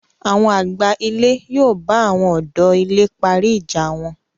Àwọn àgbà ilé yóò bà àwọn ọ̀dọ́ ilé parí ìjà wọn